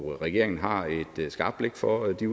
regeringen har et skarpt blik for de